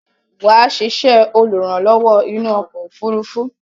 Wà á sisẹ́ olùrànlówó inú okò òfurufú